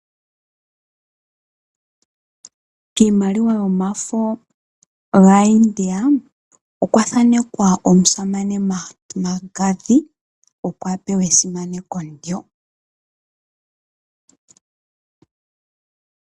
Kiimaliwa yomafo gaaIndia, okwa thaanekwa omusamane Mangathi opo a pewe esimaneko ndyo.